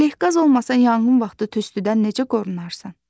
Ələqaz olmasa yanğın vaxtı tüstüdən necə qorunarsan?